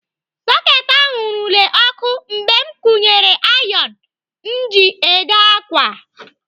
Soketị ahụ nwurule ọkụ mgbe m kwunyere ayon m ji ede ákwà.